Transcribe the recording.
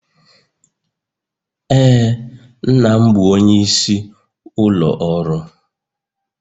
Ee, nna m bụ onyeisi ụlọ ọrụ